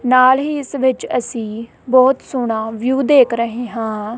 ਨਾਲ ਹੀ ਇੱਸ ਵਿੱਚ ਅੱਸੀਂ ਬਹੁਤ ਸੋਹਣਾ ਵਿਊ ਦੇਖ ਰਹੇਂ ਹਾਂ।